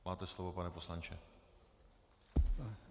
Máte slovo, pane poslanče.